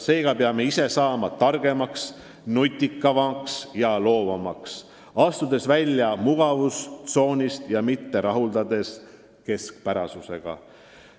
Seega peame ise saama targemaks, nutikamaks ja loovamaks, astudes välja mugavustsoonist ja mitte rahuldudes keskpärasusega.